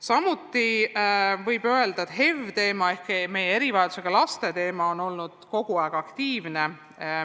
Samuti võib öelda, et HEV-i teema ehk meie erivajadusega laste teema on olnud kogu aeg päevakorral.